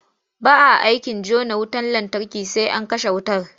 Ba a aikin jona wutar lantarki sai an kashe wutar.